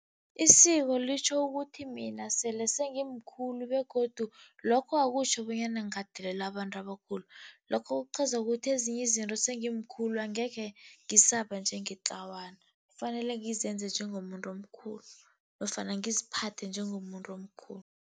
Isiko litjho ukuthi mina sele sengimkhulu begodu lokho akutjho bonyana ngingadelela abantu abakhulu. Lokho kuqhaza ukuthi ezinye izinto sengimkhulu angekhe ngisaba njengetlawana, kufanele ngizenze njengomuntu omkhulu nofana ngiziphathe njengomuntu omkhulu.